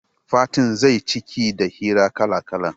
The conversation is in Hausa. Fatin zai ciki da hira kala-kala